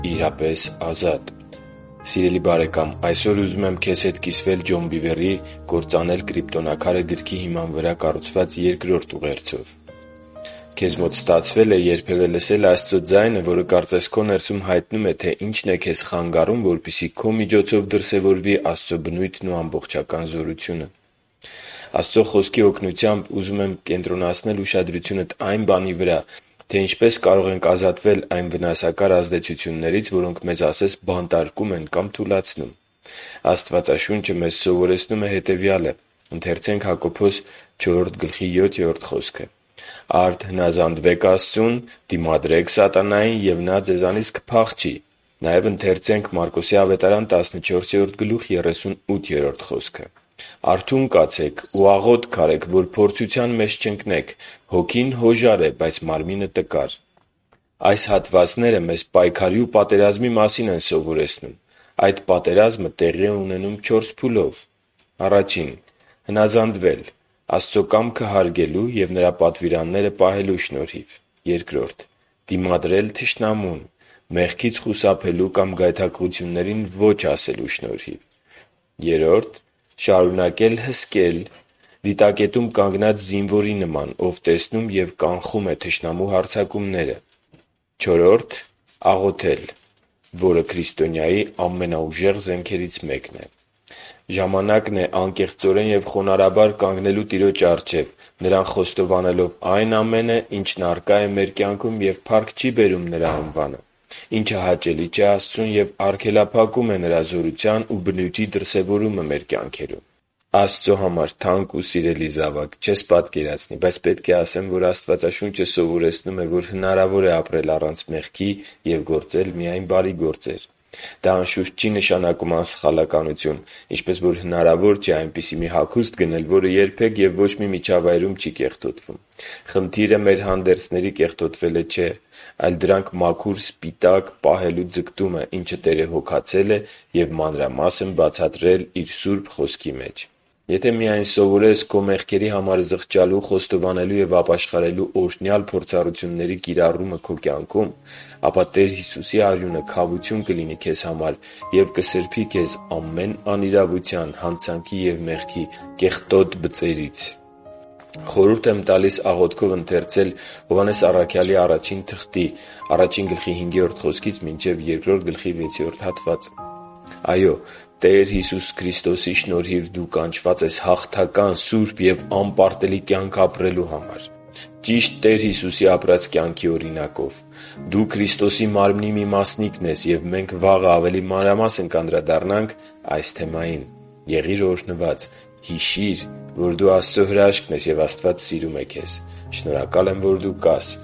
իրապես ազատ… Սիրելի՛ բարեկամ, այսօր ուզում եմ քեզ հետ կիսվել Ջոն Բիվերի «Կրոծանել Կրիպտոնաքարը» գրքի հիմա վրա կառուցված երկրորդ ուղերձով: Քեզ մոտ ստացվե՞լ է երբևէ լսել Աստծո ձայնը, որը կարծես քո ներսում հայտնում է, թե ինչն է քեզ խանգարում, որպեսզի քո միջոցով դրսևորվի Աստծո բնույթն ու ամբողջական զորությունը: Աստծո Խոսքի օգնությամբ ուզում եմ կենտրոնացնել ուշադրությունդ այն բանի վրա, թե ինչպես կարող ենք ազատվել այն վնասակար ազդեցություններից, որոնք մեզ ասես բանտարկում են կամ թուլացնում: Աստվածաշունչը մեզ սովորեցնում է հետևյալը. «Արդ հնազանդվե՛ք Աստծուն, դիմադրե՛ք սատանային, ու նա ձեզանից կփախչի» (Հակոբոս 4․7)։ «Արթո՛ւն կացեք ու աղո՛թք արեք, որ փորձության մեջ չընկնեք։ Հոգին հոժար է, բայց մարմինը՝ տկար» (Մարկոս 14․38)։ Այս հատվածները մեզ պայքարի ու պատերազմի մասին են սովորեցնում։ Այդ պատերազմը տեղի է ունենում չորս փուլով. - Հնազանդվել՝ Աստծո կամքը հարգելու և Նրա պատվիրաններրը պահելու շնորհիվ: - Դիմադրել թշնամուն՝ մեղքից խուսափելու կամ գայթակղություններին ո՛չ ասելու շնորհիվ։ - Շարունակ հսկել՝ դիտակետում կանգնած զինվորի նման, ով տեսնում և կանխում է թշնամու հարձակումները: - Աղոթել, որը քրիստոնյայի ամենաուժեղ զենքերից մեկն է: Ժամանակն է անկեղծորեն և խոնարհաբար կանգնելու Տիրոջ առջև՝ Նրան խոստովանելով այն ամենը, ինչն առկա է մեր կյանքում և փառք չի բերում Նրա անվանը, ինչը հաճելի չէ Աստծուն և արգելափակում է Նրա զորության ու բնույթի դրսևորումը մեր կյանքերում։ Աստծո համար թանկ ու սիրելի՛ զավակ, չես պատկերացնի, բայց պիտի ասեմ, որ Աստվածաշունչը սովորեցնում է, որ հնարավոր է ապրել առանց մեղքի և գործել միայն բարի գործեր։ Դա, անշուշտ, չի նշանակում անսխալականություն։ Ինչպես հնարավոր չէ այնպիսի մի հագուստ գնել, որը երբեք և ոչ մի միջավայրում չի կեղտոտվում։ Խնդիրը մեր հանդերձների կեղտոտվելը չէ, այլ դրանք մաքուր սպիտակ պահելու ձգտումը, ինչը Տերը հոգացել է և մանրամասն բացատրել Իր Սուրբ Խոսքի մեջ։ Եթե միայն սովորես քո մեղքերի համար զղջալու, խոստովանելու և ապաշխարելու օրհնյալ փորձառությունների կիրառումը քո կյանքում, ապա Տեր Հիսուսի արյունը քավություն կլինի քեզ համար և կսրբի քեզ ամեն անիրավության, հանցանքի և մեղքի աղտոտ բծերից։ (Խորհուրդ եմ տալիս աղոթքով ընթերցել Ա Հովհաննես 1.5 - 2.6 հատվածը): Այո՛, Տեր Հիսուսի Քրիստոսի շնորհիվ դու կանչված ես հաղթական, սուրբ ու անպարտելի կյանք ապրելու համար՝ ճիշտ Տեր Հիսուսի ապրած կյանքի օրինակով։ Դու Քրիստոսի Մարմնի մի մասնիկն ես և մենք վաղը ավելի մանրամասնորեն կանդրադառնանք այս թեմային: Եղի՛ր օրհնված: Հիշի՛ր, որ դու Աստծո հրաշքն ես, և Աստված սիրում է քեզ։ Շնորհակալ եմ, որ դու կա՛ս